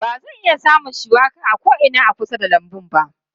Ba zan iya samun shuwaka a ko'ina a kusa da lambun ba.